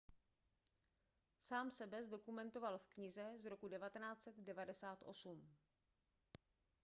sám sebe zdokumentoval v knize z roku 1998